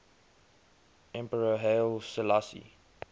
emperor haile selassie